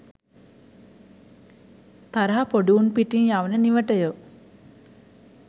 තරහ පොඩි උන් පිටින් යවන නිවටයෝ.